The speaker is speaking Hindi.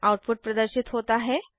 आउटपुट प्रदर्शित होता है